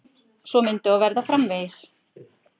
Svo myndi og verða framvegis.